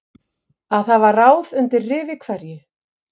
Að hafa ráð undir rifi hverju